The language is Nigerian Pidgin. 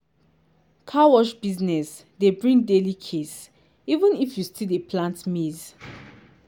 car wash business dey bring daily case even if you still dey plant maize.